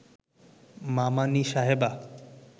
মামানী সাহেবা